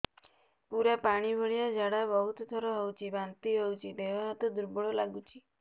ପୁରା ପାଣି ଭଳିଆ ଝାଡା ବହୁତ ଥର ହଉଛି ବାନ୍ତି ହଉଚି ଦେହ ହାତ ଦୁର୍ବଳ ଲାଗୁଚି